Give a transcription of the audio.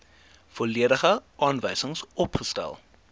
volledige aanwysings opgestel